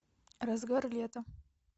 разгар лета